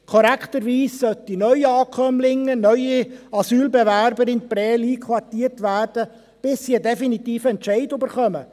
Korrekterweise sollten Neuankömmlinge, neue Asylbewerber in Prêles einquartiert werden, bis sie einen definitiven Entscheid erhalten.